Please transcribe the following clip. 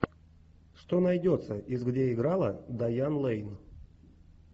что найдется из где играла дайан лэйн